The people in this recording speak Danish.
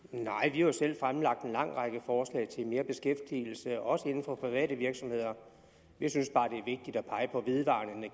jo selv fremlagt en lang række forslag til mere beskæftigelse også inden for private virksomheder vi synes bare